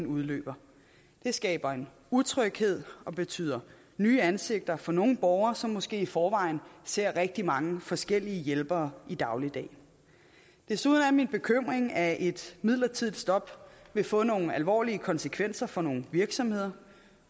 udløber det skaber en utryghed og betyder nye ansigter for nogle borgere som måske i forvejen ser rigtig mange forskellige hjælpere i dagligdagen desuden er det min bekymring at et midlertidigt stop vil få nogle alvorlige konsekvenser for nogle virksomheder